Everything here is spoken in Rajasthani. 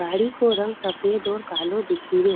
गाड़ी को रंग सफ़ेद और कालो दिखे रियो।